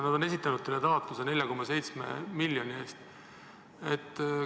Nad on esitanud taotluse 4,7 miljoni ulatuses.